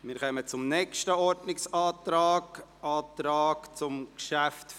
Wir kommen zum nächsten Ordnungsantrag, einem Antrag zum Traktandum 44.